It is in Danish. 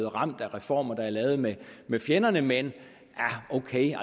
ramt af reformer der er lavet med med fjenderne men ok